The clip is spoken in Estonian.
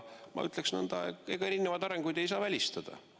Ma ütleksin nõnda, et ega erinevaid arengusuundi ei saa välistada.